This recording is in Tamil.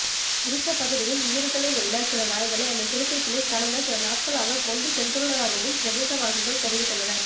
குறித்த பகுதியின் வீடுகளில் உள்ள சில நாய்களை அந்த சிறுத்தைப்புலி கடந்த சில நாட்களாக கொண்டு சென்றுள்ளதாகவும் பிரதேசவாசிகள் தெரிவித்துள்ளனர்